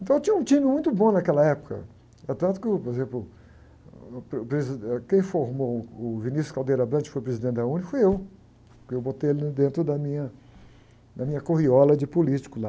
Então eu tinha um time muito bom naquela época, eh, tanto que, por exemplo, uh, o, quem formou o que foi presidente da UNE foi eu, porque eu botei ele dentro da minha, da minha corriola de político lá.